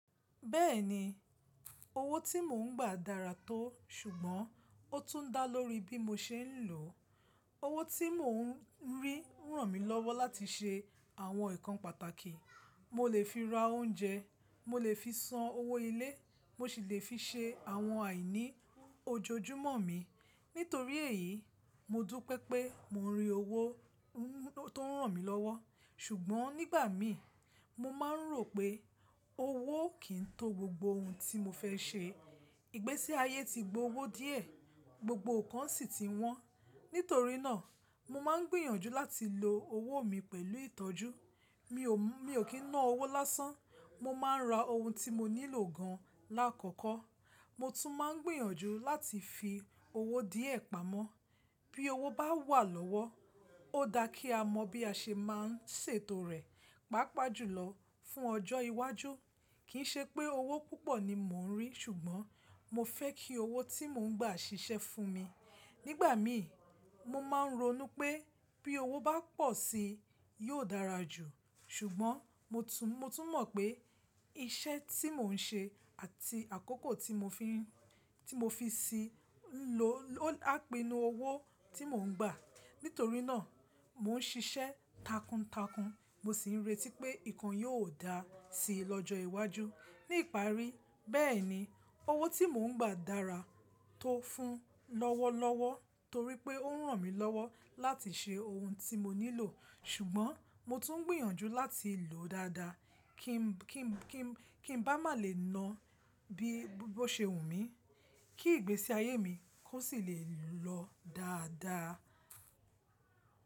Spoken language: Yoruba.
Bẹ́ẹ̀ni, owó tí mò ń gbà dára tó, ṣùgbọ́n ó tún dá lórí bí mo ṣe ń lò ó. Owó tí mò ń rí ràn mí lọ́wọ́ láti ṣe àwọn nǹkan pàtàkì. Mo lè fi ra oúnjẹ, mo lè fi san owó ilé, mo sì lè fi ṣe àwọn àìní ojoojúmọ́ mi. Nítorí èyí, mo dúpẹ́ pẹ́ mo ń rí owó tó n ràn mí lọ́wọ́. Ṣùgbọ́n nígbà mí, mo máa ń rò pé owó kì í tó gbogbo ohun tí mo fẹ́ ṣe. Ìgbésí ayé ti gbo owó díẹ̀, gbogbo nǹkan sì ti wọ́n. Nítorí náà, mo máa ń gbìyànjú láti lo owó mi pẹ̀lú ìtọ́jú. Mi ò kí naa owó lásán. Mo máa ń ra ohun tí mo nílò gan lákọ̀kọ́. Mo tún máa ń gbìyànjú láti fi owó díẹ̀ pamọ́. Bí owó bá wà lọ́wọ́, ó da kí a mọ̀ bí a ṣe máa ń ṣètò rẹ̀, pàápàá jùlọ fún ọjọ́ iwájú. Kì í ṣe pé owó púpọ̀ ni mò ń rí, ṣùgbọ́n mo fẹ́ kí owó tí mò ń gbà ṣiṣẹ́ fún mi. Nígbà mí, mo máa ń ronú pé bí owó bá pọ̀ sí i, yóò dára jù. Ṣùgbọ́n mo tún mọ̀ pé iṣẹ́ tí mò ń ṣe àti àkókò tí mo fi sì ń lo á pinu owó tí mò ń gbà. Nítorí náà, mò ń ṣiṣẹ́ takuntakun, mo sì ń retí pé nǹkan yóò dáa sí i lọ́jọ́ iwájú. Ní ìparí, bẹ́ẹ̀ni, owó tí mò ń gba dára tó fún lọ́wọ́lọ́wọ́ torí pé ó ràn mí lọ́wọ́ láti ṣe ohun tí mo nílò. Ṣùgbọ́n mo tún ń gbìyànjú láti lò ó dáadáa kí ń bá lè má naa bí ó ṣe wù mí, kí ìgbésí ayé mi kó sì lè lọ dáadáa.